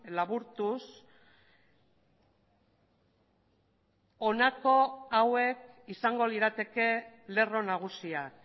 laburtuz honako hauek izango lirateke lerro nagusiak